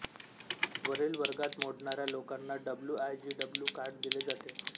वरील वर्गात मोडणाऱ्या लोकांना W I G W card दिले जाते